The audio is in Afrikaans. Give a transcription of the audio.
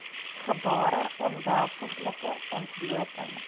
gebare onwelvoeglike ontblooting